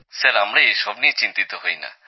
sir আমরা এসব নিয়ে চিন্তিত হইনা